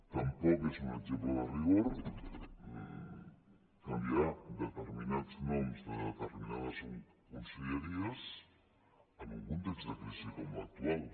tampoc és un exemple de rigor canviar determinats noms de determinades conselleries en un context de crisi com l’actual